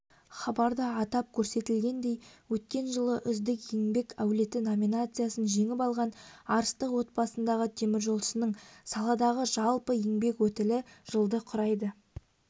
темір жол кәсібін бірінші бастаған әулеттің отағасы күшікбаев тазабек жаңабайұлы кезінде тылда еңбек етіп одан соң